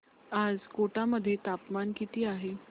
आज कोटा मध्ये तापमान किती आहे